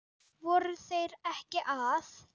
Voru þeir ekki að?